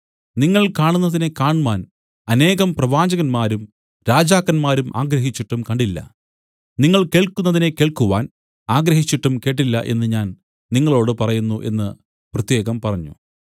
നിങ്ങൾ കാണുന്നതിനെ കാണ്മാൻ അനേകം പ്രവാചകന്മാരും രാജാക്കന്മാരും ആഗ്രഹിച്ചിട്ടും കണ്ടില്ല നിങ്ങൾ കേൾക്കുന്നതിനെ കേൾക്കുവാൻ ആഗ്രഹിച്ചിട്ടും കേട്ടില്ല എന്നു ഞാൻ നിങ്ങളോടു പറയുന്നു എന്നു പ്രത്യേകം പറഞ്ഞു